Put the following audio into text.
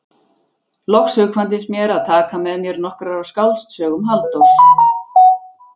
Loks hugkvæmdist mér að taka með mér nokkrar af skáldsögum Halldórs